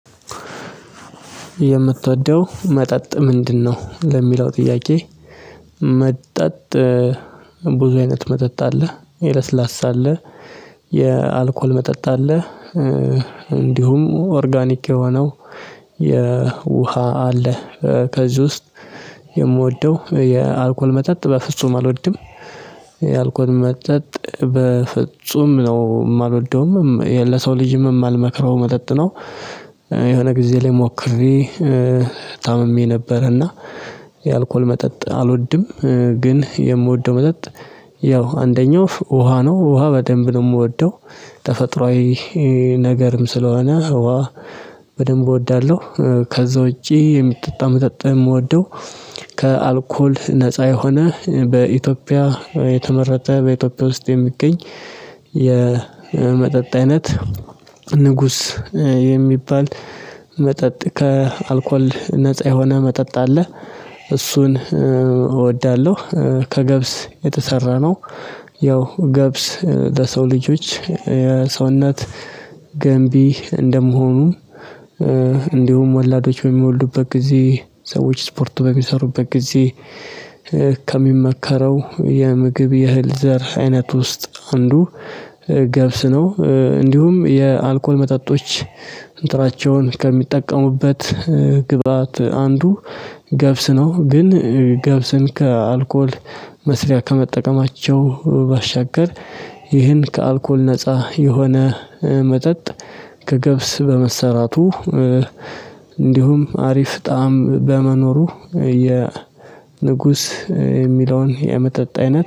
"የምትወደው መጠጥ ምንድነው?" ለሚለው ጥያቄ፤ መጠጥ ብዙ አይነት መጠጥ አለ። የለስላሳ አለ፤ የአልኮል መጠጥ አለ። እንዲሁም ኦርጋኒክ የሆነው የውሃ አለ። ከዚህ ውስጥ የምወደው የአልኮል መጠጥ በፍጹም አልወድም። የአልኮል መጠጥ በፍጹም ነው የማልወደውም፤ ለሰው ልጅም የማልመክረው መጠጥ ነው። የሆነ ጊዜ ላይ ሞክሬ ታምሜ ነበር። እና የአልኮል መጠጥ አልወድም። ግን የምወደው መጠጥ ያው አንደኛው ውሃ ነው። ውሃ በደንብ ነው የምወደው። ተፈጥሯዊ ነገርም ስለሆነ፤ ውሃ በደንብ እወዳለሁ። ከዛ ውጪ የሚጠጣ መጠጥ የምወደው፤ ከአልኮል ነፃ የሆነ በኢትዮጵያ የተመረተ፤ በኢትዮጵያ ውስጥ የሚገኝ የመጠጥ አይነት ንጉስ የሚባል መጠጥ ከአልኮል ነፃ የሆነ መጠጥ አለ። እሱን እወዳለሁ። ከገብስ የተሰራ ነው። ያው ገብስ ለሰው ልጆች የሰውነት ገንቢ እንደመሆኑ፤ እንዲሁም ወላዶች በሚወልዱበት ጊዜ፣ ሰዎች ስፖርት በሚሰሩበት ጊዜ፣ ከሚመከረው የምግብ የእህል ዘር አይነት ውስጥ አንዱ ገብስ ነው። እንዲሁም የአልኮል መጠጦች እንትናቸውን ከሚጠቀሙበት ግብአት አንዱ ገብስ ነው። ግን ገብስን ከአልኮል መስሪያ ከመጠቀማቸው ባሻገር ይህን ከአልኮል ነፃ የሆነ መጠጥ ከገብስ በመሰራቱ እንዲሁም አሪፍ ጣዕም በመኖሩ የ ንጉስ የሚለውን የመጠጥ አይነት